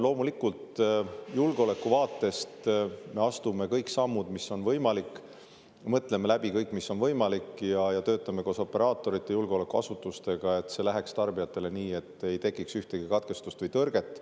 Loomulikult, julgeoleku vaatest me astume kõik sammud, mis on võimalik, mõtleme läbi kõik, mis on võimalik, ja töötame koos operaatorite ja julgeolekuasutustega, et see läheks tarbijate jaoks nii, et ei tekiks ühtegi katkestust või tõrget.